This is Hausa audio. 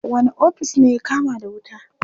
Wane ofis ne ya kama da wuta?